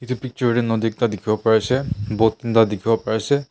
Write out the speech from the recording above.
itu picture tey nodi ekta dikhiwo pari ase boat tinta dikhiwo pariase.